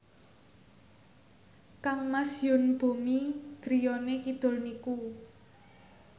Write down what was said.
kangmas Yoon Bomi griyane kidul niku